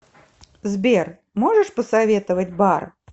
сбер можешь посоветовать бар